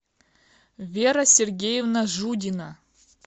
вера сергеевна жудина